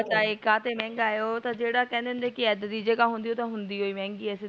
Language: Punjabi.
ਪਤਾ ਨ ਕਹਤੇ ਮਹਂਗਾ ਹੈ ਓਹ ਤਾ ਜਿਹੜਾ ਇਹਦਾ ਹੁੰਦੇ ਦੀ ਜਗਾ ਹੁੰਦੀ ਓਹ ਤ ਹੁੰਦੀ ਹੀ ਮਹਗੀ ਆ